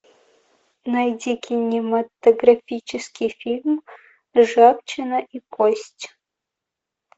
найди кинематографический фильм ржавчина и кость